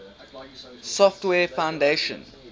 software foundation